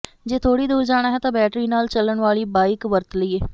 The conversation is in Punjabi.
ਜੇ ਥੋੜ੍ਹੀ ਦੂਰ ਜਾਣਾ ਹੈ ਤਾਂ ਬੈਟਰੀ ਨਾਲ ਚੱਲਣ ਵਾਲੀ ਬਾਈਕ ਵਰਤ ਲਈਏ